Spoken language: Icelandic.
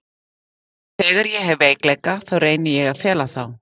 Og þegar ég hef veikleika þá reyni ég að fela þá.